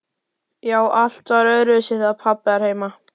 Já, allt var öðruvísi þegar pabbi var heima.